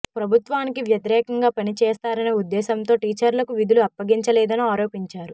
ప్రభుత్వానికి వ్యతిరేకంగా పని చేస్తారనే ఉద్దేశంతోనే టీచర్లకు విధులు అప్పగించలేదని ఆరోపించారు